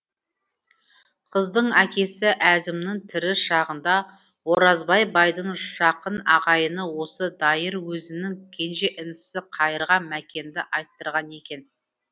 қыздың әкесі әзімнің тірі шағында оразбай байдың жақын ағайыны осы дайыр өзінің кенже інісі қайырға мәкенді айттырған екен